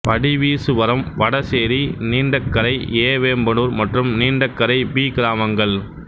Vadiveeswaram Vadasery Neendakarai A Vembanur மற்றும் Neendakarai B கிராமங்கள்